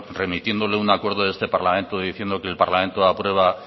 remitiéndole un acuerdo de este parlamento diciéndole que el parlamento aprueba